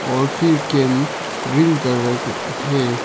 और green colour का है।